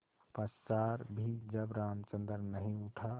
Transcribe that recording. पश्चार भी जब रामचंद्र नहीं उठा